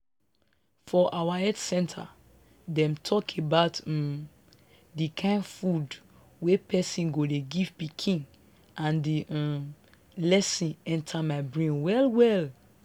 for our health centre them talk about um the kind food wey person go dey give pikin and the um lesson enter my brain well well.